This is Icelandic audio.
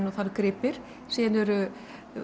og það eru gripir síðan eru